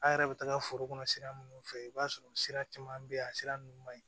An yɛrɛ bɛ taga foro kɔnɔ sira minnu fɛ i b'a sɔrɔ sira caman bɛ yen a sira ninnu man ɲi